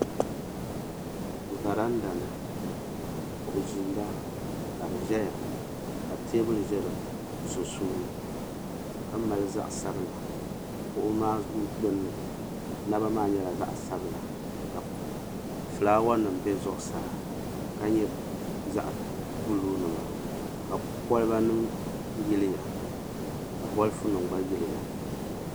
Varanda ni ka kuɣu ʒeenda ka di zaya ka teebuli za di sunsuuni ka mali zaɣa sabla kuɣu maa gbinni naba maa nyɛla zaɣa sabla ka filaawa nima be zuɣusaa ka nyɛ zaɣa buluu nima ka koliba nima yiliya ka bolifu nima gba yiliya.